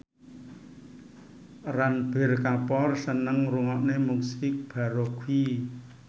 Ranbir Kapoor seneng ngrungokne musik baroque